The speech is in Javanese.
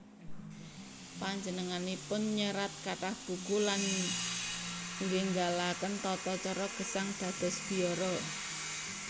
Panjenenganipun nyerat kathah buku lan nggénggalaken tatacara gesang dados biara